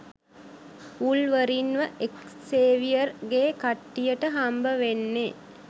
වුල්වරීන්ව Xavier ගෙ කට්ටියට හම්බවෙන්නේ